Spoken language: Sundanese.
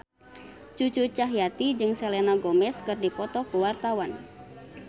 Cucu Cahyati jeung Selena Gomez keur dipoto ku wartawan